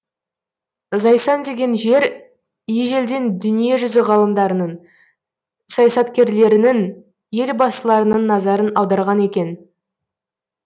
зайсан деген жер ежелден дүние жүзі ғалымдарының саясаткерлерлерінің елбасыларының назарын аударған екен